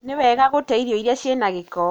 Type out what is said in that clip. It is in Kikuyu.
Nĩwega gũte irio iria cina gĩko.